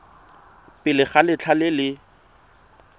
pele ga letlha le le